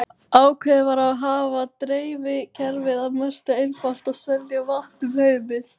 Ákveðið var að hafa dreifikerfið að mestu einfalt og selja vatn um hemil.